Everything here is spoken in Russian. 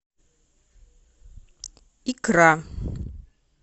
икра